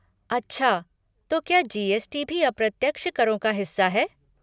अच्छा तो क्या जी.एस.टी. भी अप्रत्यक्ष करों का हिस्सा है?